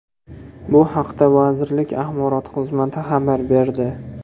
Bu haqda vazirlik axborot xizmati xabar berdi .